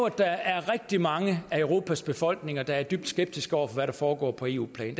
der er rigtig mange europas befolkninger der er dybt skeptiske over for hvad der foregår på eu plan